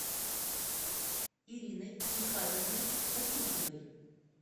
ириной михайловной васильевой